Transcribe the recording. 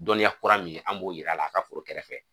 Dɔnniya kura min an b'o yira a la a ka foro kɛrɛfɛ.